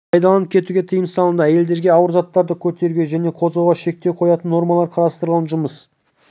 пайдаланып кетуге тыйым салынды әйелдерге ауыр заттарды көтеруге және қозғауға шектеу қоятын нормалар қарастырылған жұмыс